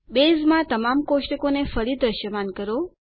બેઝમાં તમામ કોષ્ટકોને ફરી દ્રશ્યમાન કરો